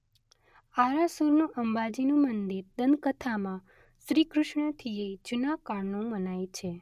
આરાસુરનું અંબાજીનું મંદિર દંતકથામાં શ્રીકૃષ્ણથીયે જુના કાળનું મનાય છે.